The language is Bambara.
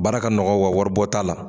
Baara ka nɔgɔ wa wari bɔ' t'ala